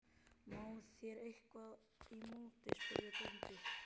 Má þar eitthvað í móti, spurði bóndi?